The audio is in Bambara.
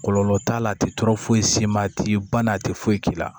Kɔlɔlɔ t'a la a tɛ tɔɔrɔ foyi s'i ma a t'i ba na a tɛ foyi k'i la